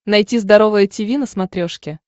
найти здоровое тиви на смотрешке